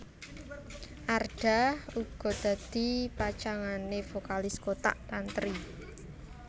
Arda uga dadi pacangané vokalis Kotak Tantri